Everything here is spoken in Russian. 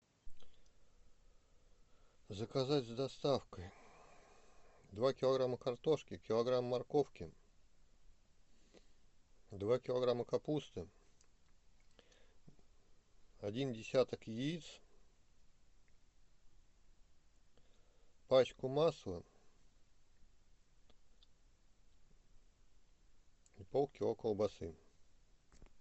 заказать с доставкой два килограмма картошки килограмм морковки два килограмма капусты один десяток яиц пачку масла и полкило колбасы